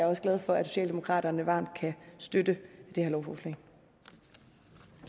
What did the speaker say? også glad for at socialdemokraterne varmt kan støtte det